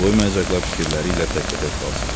Qoymayacaqlar fikirləri ilə təkbətək qalsın.